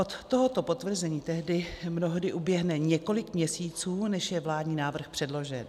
Od tohoto potvrzení tedy mnohdy uběhne několik měsíců, než je vládní návrh předložen.